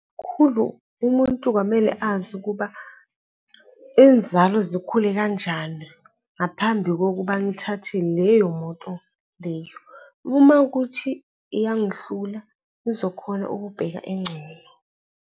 Khulu, umuntu kwamele azi ukuba inzalo zikhule kanjani ngaphambi kokuba ngithathe leyo moto leyo. Uma kuwukuthi iyangihlula, ngizokhona ukubheka engcono.